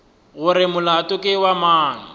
gore molato ke wa mang